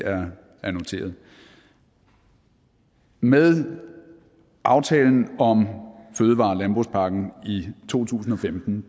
er noteret med aftalen om fødevare og landbrugspakken i to tusind og femten